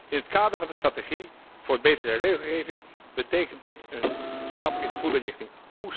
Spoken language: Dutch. In het kader van de strategie voor betere regelgeving betekent dit een stap in de goede richting.